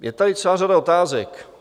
Je tady celá řada otázek.